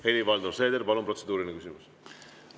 Helir-Valdor Seeder, palun, protseduuriline küsimus!